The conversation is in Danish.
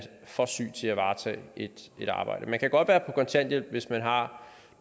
for syg til at varetage et arbejde man kan godt være kontanthjælp hvis man har